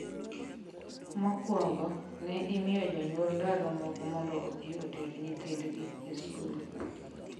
Mokwongo, ne imiyo jonyuol ndalo moko mondo odhi oter nyithindgi e skul.